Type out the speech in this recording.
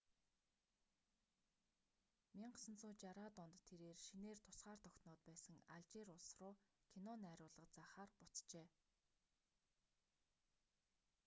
1960-аад онд тэрээр шинээр тусгаар тогтноод байсан алжир улс руу кино найруулга заахаар буцжээ